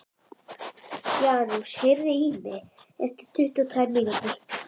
Janus, heyrðu í mér eftir tuttugu og tvær mínútur.